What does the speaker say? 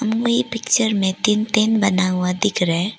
Picture में तीन tent बना हुआ दिख रहा है।